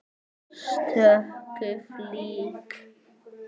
stöku flík.